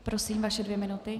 Prosím, vaše dvě minuty.